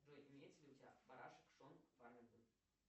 джой есть ли у тебя барашек шон